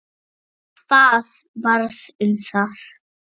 Hvað varð um það?